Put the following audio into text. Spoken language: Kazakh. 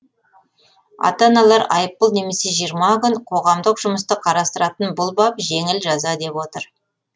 ата аналар айыппұл немесе жиырма күн қоғамдық жұмысты қарастыратын бұл бап жеңіл жаза деп отыр